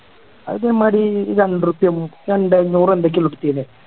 അത് മാരി രണ്ടുർപ്പയോ മുപ്പൊ എന്തോ ഇരുന്നൂറോ എന്തൊക്കെയുള്ളൂ എടുത്തിന്നെ